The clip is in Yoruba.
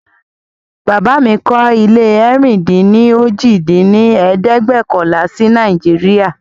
Bàbá mí kọ́ ilé ẹ̀rin-dín-ní-ojì dín ní ẹ̀ẹ́dẹ́gbẹ́ọ̀kànlá si Nàìjíríà